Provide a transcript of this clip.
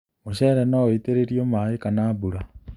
Mũcere nũ wĩitĩrĩrio maĩ kana mbura.